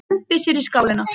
Dembir sér í skálina.